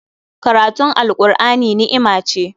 Karatun Al'Qur'ani ni'ima ce.